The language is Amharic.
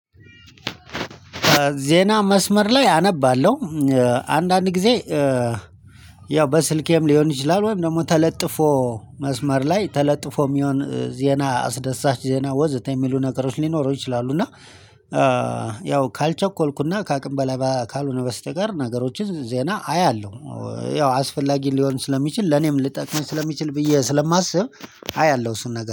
ዜና መስመር ላይ አነባለሁ። አንዳንድ ጊዜ። ያው በስልኬም ሊሆን ይችላል ወይም ደግሞ ተለጥፎ መስመር ላይ ተለጥፎ የሚሆን ዜና አስደሳች ዜና ወዘተ የሚሉ ነገሮች ሊኖሩ ይችላሉ። እና ያው ካልቸኮልኩና ከአቅም በላይ ካልሆነ በስተቀር ነገሮችን ዜና አያለሁ። ያው አስፈላጊ ሊሆን ስለሚችል ለኔም ልጠቅምህ ስለሚችል ብዬ ስለማስብ አያለሁ እሱን ነገር